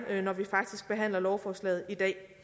når vi faktisk behandler lovforslaget i dag